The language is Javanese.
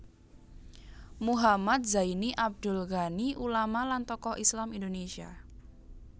Muhammad Zaini Abdul Ghani ulama lan tokoh Islam Indonesia